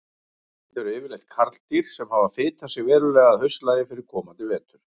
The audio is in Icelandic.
Þetta eru yfirleitt karldýr sem hafa fitað sig verulega að haustlagi fyrir komandi vetur.